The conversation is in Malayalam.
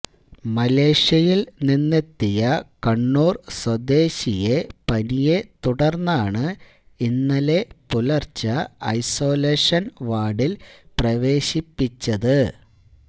മലേഷ്യയിൽ നിന്നെത്തിയ കണ്ണൂർ സ്വദേശിയെ പനിയെ തുടർന്നാണ് ഇന്നലെ പുലർച്ചെ ഐസോലേഷൻ വാർഡിൽ പ്രവേശിപ്പിച്ചത്